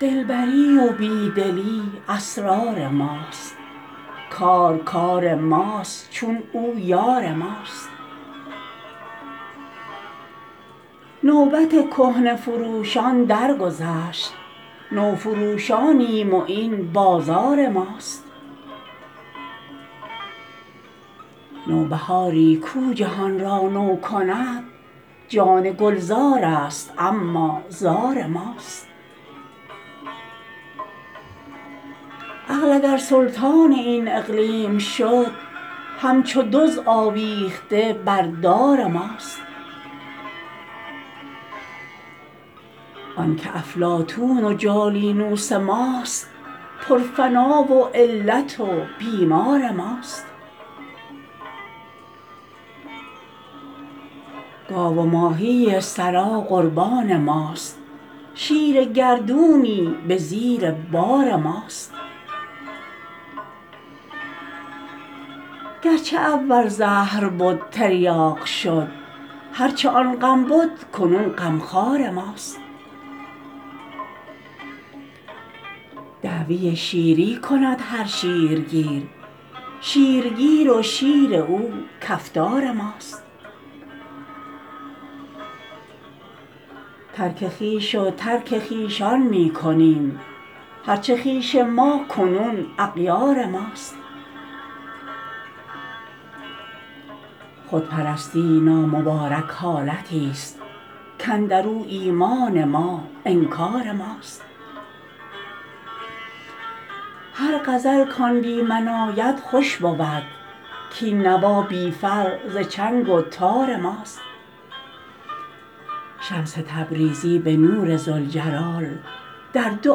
دلبری و بی دلی اسرار ماست کار کار ماست چون او یار ماست نوبت کهنه فروشان درگذشت نوفروشانیم و این بازار ماست نوبهاری کو جهان را نو کند جان گلزارست اما زار ماست عقل اگر سلطان این اقلیم شد همچو دزد آویخته بر دار ماست آنک افلاطون و جالینوس ماست پرفنا و علت و بیمار ماست گاو و ماهی ثری قربان ماست شیر گردونی به زیر بار ماست هر چه اول زهر بد تریاق شد هر چه آن غم بد کنون غمخوار ماست دعوی شیری کند هر شیرگیر شیرگیر و شیر او کفتار ماست ترک خویش و ترک خویشان می کنیم هر چه خویش ما کنون اغیار ماست خودپرستی نامبارک حالتی ست کاندر او ایمان ما انکار ماست هر غزل کان بی من آید خوش بود کاین نوا بی فر ز چنگ و تار ماست شمس تبریزی به نور ذوالجلال در دو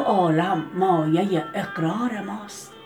عالم مایه اقرار ماست